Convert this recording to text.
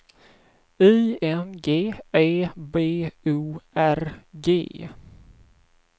I N G E B O R G